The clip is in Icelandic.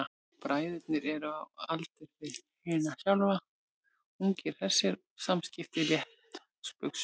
Bræðurnir eru á aldur við hana sjálfa, ungir og hressir og samskiptin létt og spaugsöm.